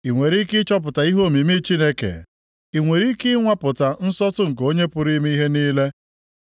“I nwere ike ịchọpụta ihe omimi Chineke? I nwere ike ịnwapụta nsọtụ nke Onye pụrụ ime ihe niile?